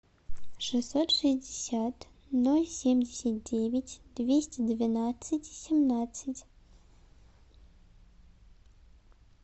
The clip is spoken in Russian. шестьсот шестьдесят ноль семьдесят девять двести двенадцать семнадцать